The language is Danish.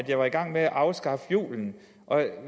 jeg var i gang med at afskaffe julen